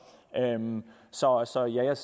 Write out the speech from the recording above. så så jeg